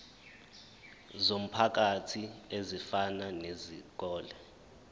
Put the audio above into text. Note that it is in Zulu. zomphakathi ezifana nezikole